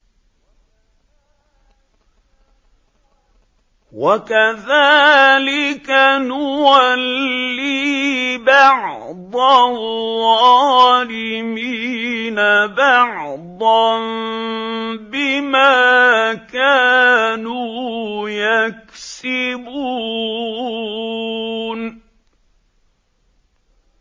وَكَذَٰلِكَ نُوَلِّي بَعْضَ الظَّالِمِينَ بَعْضًا بِمَا كَانُوا يَكْسِبُونَ